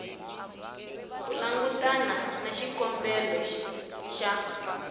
ku langutana na xikombelo xa